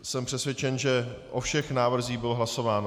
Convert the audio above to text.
Jsem přesvědčen, že o všech návrzích bylo hlasováno.